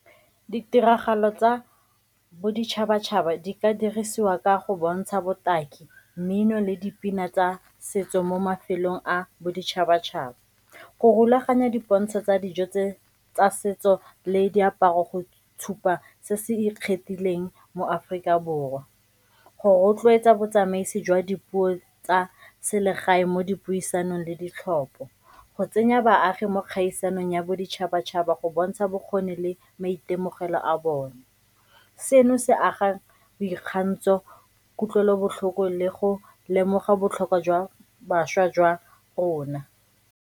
Ditiragalo tsa boditšhabatšhaba di ka dirisiwa ka go bontsha botaki, mmino le dipina tsa setso mo mafelong a boditšhabatšhaba. Go rulaganya dipontsho tsa dijo tse tsa setso le diaparo go tshupa se se ikgethileng mo Aforika Borwa, go rotloetsa botsamaisi jwa dipuo tsa selegae mo dipuisanong le ditlhopo, go tsenya baagi mo gaisanang ya boditšhabatšhaba go bontsha bokgoni le maitemogelo a bone. Seno se agang boikgantsho, kutlwelobotlhoko le go lemoga botlhokwa jwa bašwa jwa rona.